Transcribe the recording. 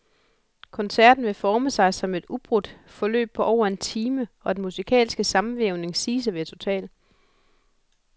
Koncerten vil forme sig som et ubrudt forløb på over en time, og den musikalske sammenvævning siges at være total.